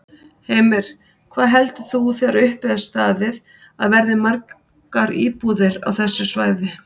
Heimir: Hvað heldur þú þegar upp er staðið að verði margar íbúðir á þessu svæði?